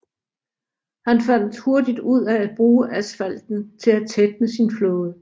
Han fandt hurtigt ud af at bruge asfalten til at tætne sin flåde